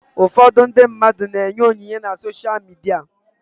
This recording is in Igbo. Ụfọdụ ndị mmadụ na-enye onyinye na sosha midia.